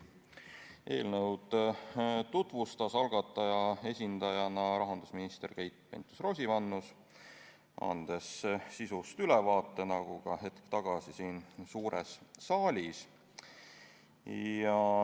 Eelnõu tutvustas algataja esindajana rahandusminister Keit Pentus-Rosimannus, andes sisust ülevaate nagu ka hetk tagasi siin suures saalis.